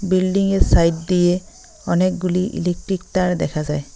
Building এর side দিয়ে অনেকগুলি ইলেকট্রিক তার দেখা যায়।